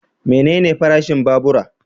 Menene farashin babura?